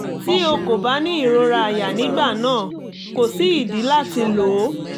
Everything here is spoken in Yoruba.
tí o kò bá ní ìrora aya nígbà náà kò sí ìdí láti lò ó